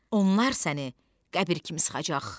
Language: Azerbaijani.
Onlar səni qəbir kimi sıxacaq.